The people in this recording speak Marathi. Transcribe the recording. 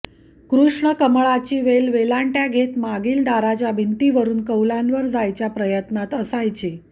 कृष्ण कमळाची वेल वेलांट्या घेत मागील दारच्या भिंतीवरून कौलांवर जायच्या प्रयत्नात असायची